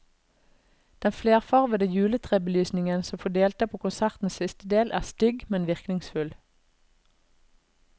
Den flerfarvede juletrebelysningen som får delta på konsertens siste del, er stygg, men virkningsfull.